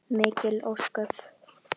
Mikil ósköp.